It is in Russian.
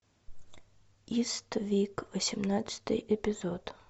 иствик восемнадцатый эпизод